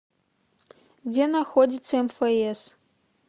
где находится мфс